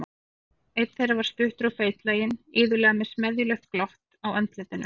Einn þeirra var stuttur og feitlaginn, iðulega með smeðjulegt glott á andlitinu.